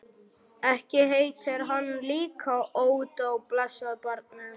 Ekki heitir hann líka Ódó, blessað barnið.